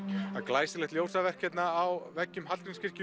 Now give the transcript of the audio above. glæsilegt ljósaverk hérna á veggjum Hallgrímskirkju